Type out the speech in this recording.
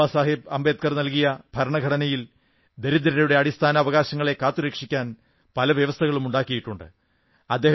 ബാബാസാഹബ് അംബേദ്കർ നല്കിയ ഭരണഘടനയിൽ ദരിദ്രരുടെ അടിസ്ഥാന അവകാശങ്ങളെ കാത്തുരക്ഷിക്കാൻ പല വ്യവസ്ഥകളും ഉണ്ടാക്കിയിട്ടുണ്ട്